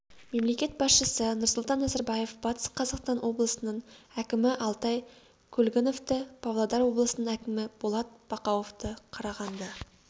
мемлекет басшысы нұрсұлтан назарбаев батыс қазақстан облысының әкімі алтай көлгіновті павлодар облысының әкімі болат бақауовты қарағанды